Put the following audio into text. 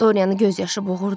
Doryanı göz yaşı boğurdu.